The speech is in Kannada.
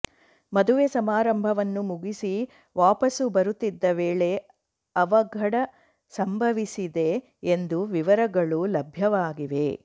ಮದುವೆ ಸಮಾರಂಭವನ್ನು ಮುಗಿಸಿ ವಾಪಾಸು ಬರುತ್ತಿದ್ದ ವೇಳೆ ಅವಘಡ ಸಂಭವಿಸಿದೆ ಎಂದು ವಿವರಗಳು ಲಭ್ಯವಾಗಿವೆ